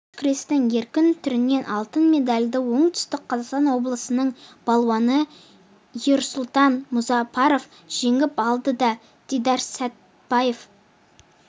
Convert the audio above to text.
алыш күресінің еркін түрінен алтын медальды оңтүстік қазақстан облысының балуаны ерсұлтан мұзапаров жеңіп алды ал дидарсәтбаев